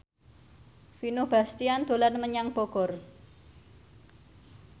Vino Bastian dolan menyang Bogor